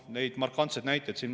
Neid markantseid näiteid on.